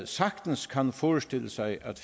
sagtens kan forestille sig at